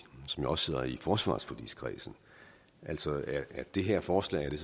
som jo også sidder i forsvarsforligskredsen altså er det her forslag